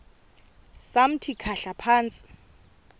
samthi khahla phantsi